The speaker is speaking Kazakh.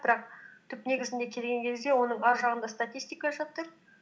бірақ түп негізіне келген кезде оның ар жағында статистика жатыр